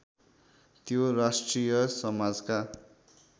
त्यो राष्ट्रिय समाजका